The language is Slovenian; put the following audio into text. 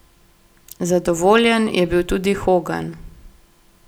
Zadovoljen je bil tudi Hogan.